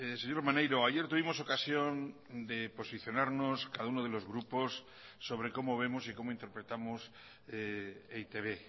señor maneiro ayer tuvimos ocasión de posicionarnos cada uno de los grupos sobre cómo vemos y cómo interpretamos e i te be